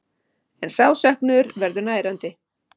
En sá söknuður verður nærandi.